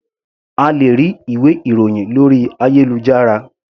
A lè rí ìwé ìròhìn lórí ayélujára.